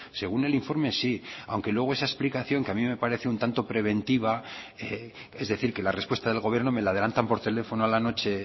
según el informe sí aunque luego esa explicaciones que a mí me parece un tanto preventiva es decir que la respuesta del gobierno me la adelantan por teléfono a la noche